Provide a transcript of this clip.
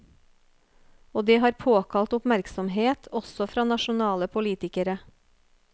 Og det har påkalt oppmerksomhet også fra nasjonale politikere.